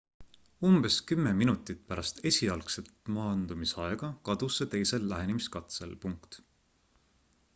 umbes kümme minutit pärast esialgset maandumisaega kadus see teisel lähenemiskatsel